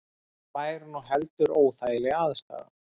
Það væri nú heldur óþægileg aðstaða